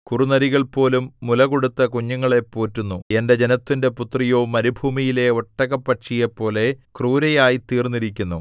കുറുനരികൾപോലും മുല കൊടുത്ത് കുഞ്ഞുങ്ങളെ പോറ്റുന്നു എന്റെ ജനത്തിന്റെ പുത്രിയോ മരുഭൂമിയിലെ ഒട്ടകപ്പക്ഷിയെപ്പോലെ ക്രൂരയായ് തീർന്നിരിക്കുന്നു